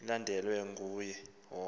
ilandelwe nguye wonke